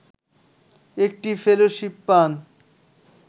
একটি ফেলোশিপ পান